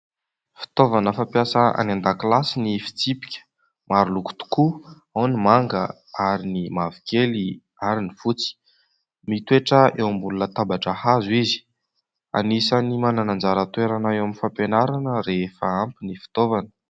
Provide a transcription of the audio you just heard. Fitaovana fampiasa any an-dakilasy ny fitsipika; maro loko tokoa, ao ny manga ary ny mavokely ary ny fotsy, mitoetra eo ambony tabatra hazo izy, anisan'ny manana anjara toerana eo amin'ny fampianarana rehefa ampy ny fitaovana.